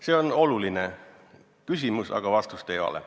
See on oluline küsimus, aga vastust ei ole.